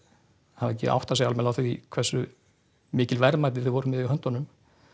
hafa ekki áttað sig almennilega á því hversu mikil verðmæti þau voru með í höndunum